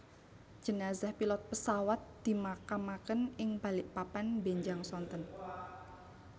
Jenazah pilot pewasat dimakamaken ing Balikpapan mbenjang sonten